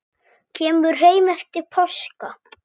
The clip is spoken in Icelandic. Kemur heim eftir páska.